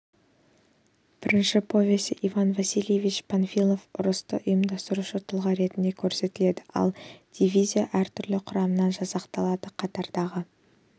бірінші повесте иван васильевич панфилов ұрысты ұйымдастырушы тұлға ретінде көрсетіледі ал дивизия әртүрлі құрамнан жасақталады қатардағы